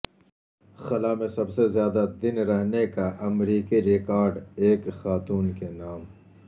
خلا میں سب سے زیادہ دن رہنے کا امریکی ریکارڈ ایک خاتون کے نام